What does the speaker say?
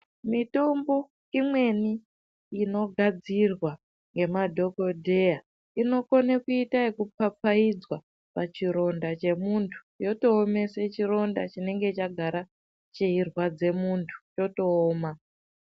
Mitombo imweni inogadzirwa ngemadhokodheya inokone kuita ekupapaidzwa pachironda chemuntu yotoomese chironda chinenge chagara cheirwadze muntu chotooma.